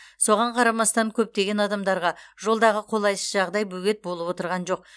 соған қарамастан көптеген адамдарға жолдағы қолайсыз жағдай бөгет болып отырған жоқ